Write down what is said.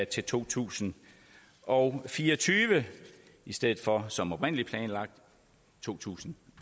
til to tusind og fire og tyve i stedet for som oprindelig planlagt to tusind